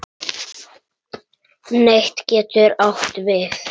Net getur átt við